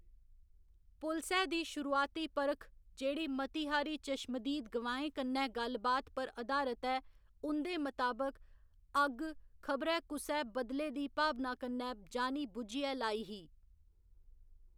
पुलसै दी शुरुआती परख, जेह्‌‌ड़ी मती हारी चश्मदीद गवाहें कन्नै गल्ल बात पर अधारत ऐ, उं'दे मताबक, अग्ग खबरै कुसै बदले दी भावना कन्नै जानी बुज्झियै लाई ही।